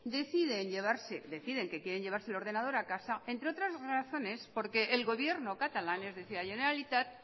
deciden que quieren llevarse el ordenador a casa entre otras razones porque el gobierno catalán es decir la generalitat